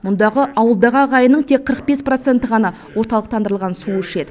мұндағы ауылдағы ағайынның тек қырық бес проценті ғана орталықтандырылған су ішеді